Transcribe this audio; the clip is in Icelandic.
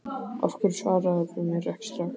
Af hverju svaraðirðu mér ekki strax?